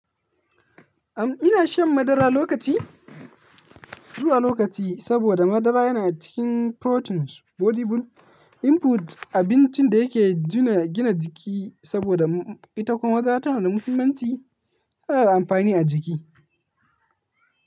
Am ina shan madara lokaci, zuwa lokaci saboda madara yana cikin proteins, body build input, abincin da yake gina jiki saboda ita kuma tana da muhimmanci, tana da amfani a jiki.